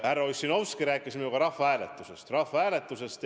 Härra Ossinovski rääkis minuga rahvahääletusest.